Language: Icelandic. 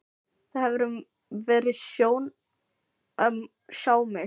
Það hefur verið sjón að sjá mig.